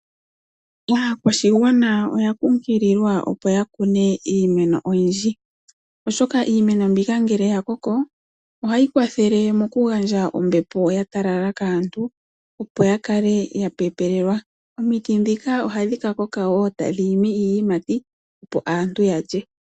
Aakwashigwana oya kunkililwa opo ya kune iimeno oyi ndji, oshoka iimeno mbika ngele ya koko, ohayi kwathele moku gandja ombepo ya talala kaantu opo ya kale ya pepelelwa, omiti ndhika oha dhi kakoka etadhi tulako iiyimati opo aantu yalye.